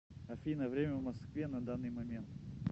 афина время в москве на данный момент